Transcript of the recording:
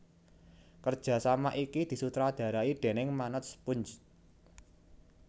Kerjasama iki disutradarai déning Manoj Punj